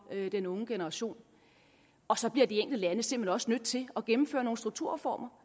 den unge generation og så bliver de enkelte lande simpelt hen også nødt til at gennemføre nogle strukturreformer